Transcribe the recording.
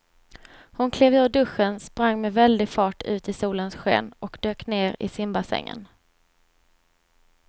Hon klev ur duschen, sprang med väldig fart ut i solens sken och dök ner i simbassängen.